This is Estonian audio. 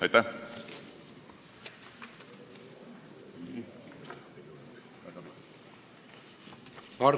Aitäh!